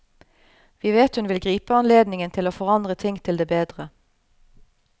Vi vet hun vil gripe anledningen til å forandre ting til det bedre.